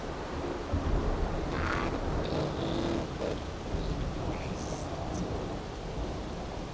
Þar líður mér best.